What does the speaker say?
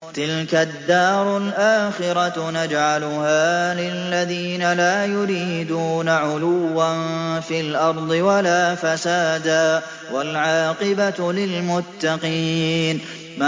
تِلْكَ الدَّارُ الْآخِرَةُ نَجْعَلُهَا لِلَّذِينَ لَا يُرِيدُونَ عُلُوًّا فِي الْأَرْضِ وَلَا فَسَادًا ۚ وَالْعَاقِبَةُ لِلْمُتَّقِينَ